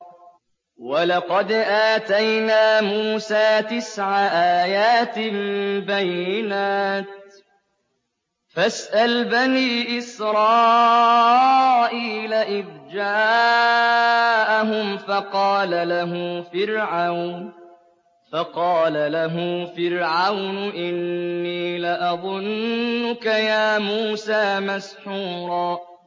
وَلَقَدْ آتَيْنَا مُوسَىٰ تِسْعَ آيَاتٍ بَيِّنَاتٍ ۖ فَاسْأَلْ بَنِي إِسْرَائِيلَ إِذْ جَاءَهُمْ فَقَالَ لَهُ فِرْعَوْنُ إِنِّي لَأَظُنُّكَ يَا مُوسَىٰ مَسْحُورًا